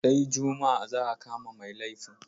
Sai juma'a za a kama mai laifin.